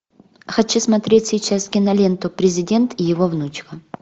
хочу смотреть сейчас киноленту президент и его внучка